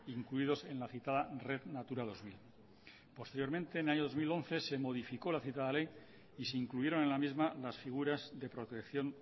incluidos en la citada red natura dos mil posteriormente en el año dos mil once se modificó la citada ley y se incluyeron en la misma las figuras de protección